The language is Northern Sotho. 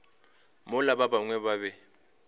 mola ba bangwe ba be